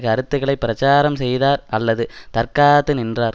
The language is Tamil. கருத்துகளை பிரச்சாரம் செய்தார் அல்லது தற்காத்து நின்றார்